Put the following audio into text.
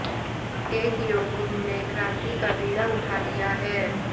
एक योग गुरु ने क्रांति का बीड़ा उठा लिया है